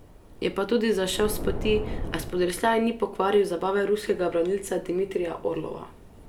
Je pa tudi zašel s poti, a spodrsljaj ni pokvaril zabave ruskega branilca Dmitrija Orlova.